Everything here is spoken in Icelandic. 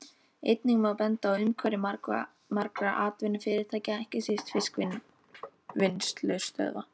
Einnig má benda á umhverfi margra atvinnufyrirtækja, ekki síst fiskvinnslustöðva.